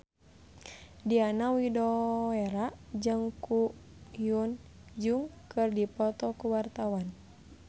Diana Widoera jeung Ko Hyun Jung keur dipoto ku wartawan